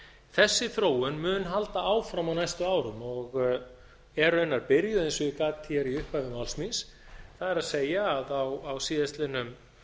þessi þróun mun halda áfram á næstu árum og er raunar byrjuð eins og gat hér í upphafi mæli síns það er að á síðastliðnum